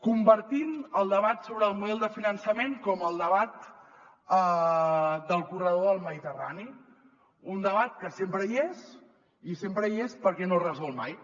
convertim el debat sobre el model de finançament com el debat del corredor mediterrani un debat que sempre hi és i sempre hi és perquè no es resol mai